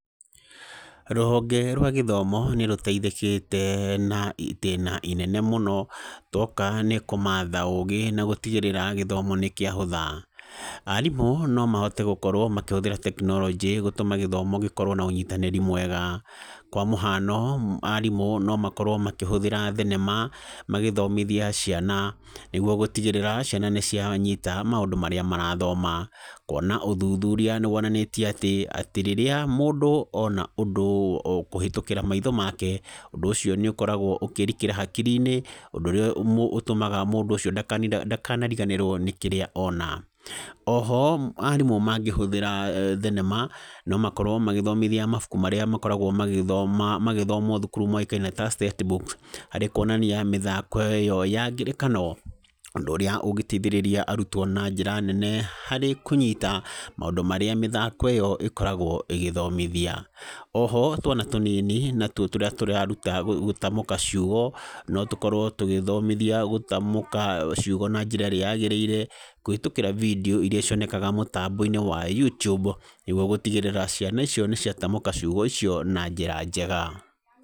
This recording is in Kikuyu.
Rũhonge rwa gĩthomo nĩ rũteithĩkĩte na itĩna rĩnene mũno. Twoka nĩ kũmatha ũgĩ na gũtigĩrĩra gĩthomo nĩ kĩahũtha. Arimũ nomahote gũkorwo makĩhũthĩra tekinoronjĩ gũtũma gũkorwo na ũnyitanĩri mwega, kwa mũhano, arimũ momakorwo makĩhũthĩra thenema magĩthomithia ciana. Nĩguo gũtigĩrĩra ciana nĩcianyita maũndũ marĩa cirathoma. Kwonania ũthuthuria nĩ wonanĩtie atĩa, rĩrĩa mũndũ ona ũndũ kũhetũkĩra maitho make, ũndũ ũcio nĩ ũkoragwo ũkĩrikĩra hakiri-inĩ, ũndũ ũrĩa ũtũmaga ndakariganĩrwo nĩ kĩrĩa ona. Oho, arimũ mangĩhũthĩra thenema, nomakorwo magĩbundithia mabuku marĩa makoragwo magĩthomwo, thuku moĩkaine ta set book, harĩ kwonania mĩthako ĩyo ya ngerekano, ũndũ ũrĩa ũngĩteithĩrĩria arutwo na njĩra nene harĩ kũnyita maũndũ marĩa mĩthako ĩyo ĩkoragwo ĩgĩthomithia. Oho, twana tũnini tũrĩa tũreruta gũtamũka ciugo, tũgĩthomithio gũtamũka ciugo na njĩra ĩrĩa yagĩrĩire kũhĩtũkĩra bindio iria cioneka kũhetũkĩra mũtambo-inĩ wa YouTube. Nĩguo gũtigĩrĩra ciana icio nĩ ciatamũka ciugo icio na njĩra njega.